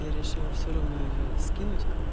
я решила всё равно её скинуть